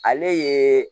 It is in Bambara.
Ale ye